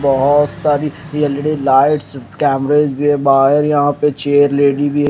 बहोत सारी L E D lights कमरे भी है बाहर यहां पे चेयर लगी भी है।